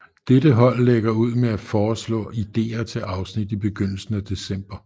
Dette hold lægger ud med at foreslå idéer til afsnit i begyndelsen af december